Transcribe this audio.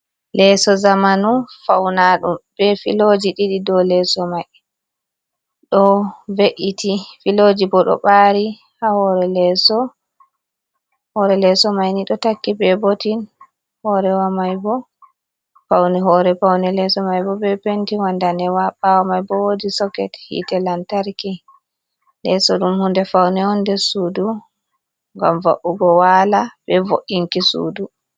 Leso zamanu faunaɗum be filoji ɗiɗi ɗo leso mai, ɗo ve’iti filoji bo ɗo ɓari ha hore leso, hore leso maini ɗo takki be botin, paune hore paune leso maibo be penti wa ndanewa, ɓawo mai bo wodi soket hite lantarki, leso ɗum hunde faune on de sudu ngam va’ugo wala be vo’inki sudu.